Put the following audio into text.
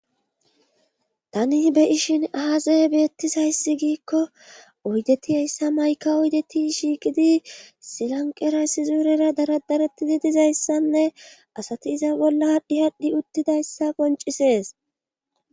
tani be ishin aazeye beettisayssi giikko oydetihayssa mayka oydeti shiiqidi silanqera sizuurera daradaretidi dizayssanne asati iza bolla hadhi hadhdhi uttidayssa qoncisees